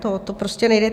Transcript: To prostě nejde.